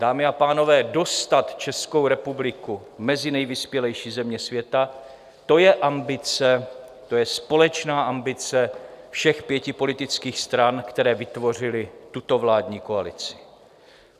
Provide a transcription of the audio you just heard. Dámy a pánové, dostat Českou republiku mezi nejvyspělejší země světa, to je ambice, to je společná ambice všech pěti politických stran, které vytvořily tuto vládní koalici.